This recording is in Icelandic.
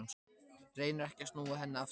Reynir ekki að snúa hann af sér.